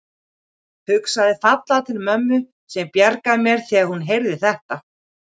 Hugsaði fallega til mömmu sem bjargaði mér þegar hún heyrði þetta.